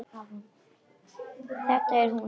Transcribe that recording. Þetta er hún sagði hann.